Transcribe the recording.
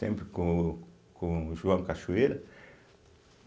Sempre com com o João Cachoeira.